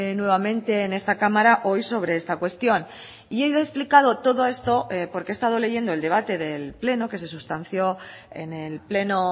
nuevamente en esta cámara hoy sobre esta cuestión y he explicado todo esto porque he estado leyendo el debate del pleno que se sustanció en el pleno